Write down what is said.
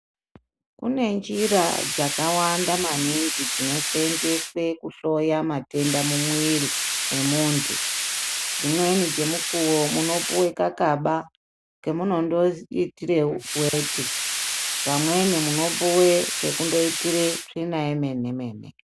Kune njira dzakawanda maningi dzinoseenzeswe kuhloya matenda mumwiri emuntu. Dzimweni dzemukuwo munopuwe kakaba kemunondoitire weti. Pamweni munopiwe, kekunoitire tsvina yemene-mene.